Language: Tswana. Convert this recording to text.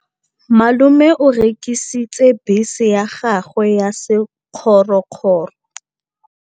Malome o rekisitse bese ya gagwe ya sekgorokgoro.